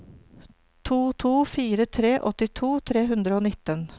to to fire tre åttito tre hundre og nitten